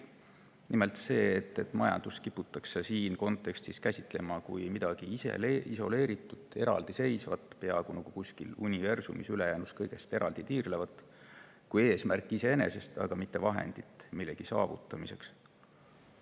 Nimelt see, et majandust kiputakse selles kontekstis käsitlema kui midagi isoleeritut, eraldiseisvat – peaaegu nii, nagu see tiirleks kusagil universumis kõigest ülejäänust eraldi –, kui eesmärki iseenesest, mitte vahendit millegi saavutamiseks.